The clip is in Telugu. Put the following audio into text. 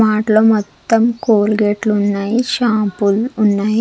మాట్ లో మొత్తం క్లోగాట్ లు ఉన్నాయి షాంపూ లు ఉన్నాయి.